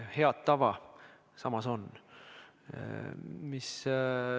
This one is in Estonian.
Head tava samas on.